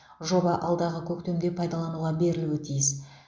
жоба алдағы көктемде пайдалануға берілуі тиіс